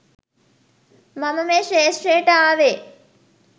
මම මේ ක්ෂේත්‍රයට ආවේ.